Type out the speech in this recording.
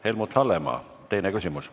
Helmut Hallemaa, teine küsimus.